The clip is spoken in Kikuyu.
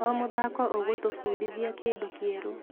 O mũthako ũgũtũbundithia kĩndũ kĩerũ.